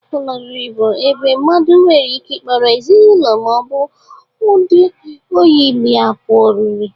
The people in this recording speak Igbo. Ụlọ oriri bụ ebe mmadụ nwere ike ikpọrọ ezinaụlọ ma ọ bụ ndị ọyị ya pụa ọrịrị.